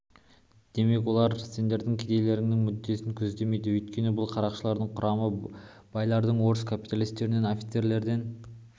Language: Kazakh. демек олар сендердің кедейлердің мүддесін көздемейді өйткені бұл қарақшылардың құрамы байлардан орыс капиталистерінен офицерлерден